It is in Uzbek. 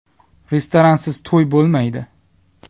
Restoransiz to‘y bo‘lmaydi.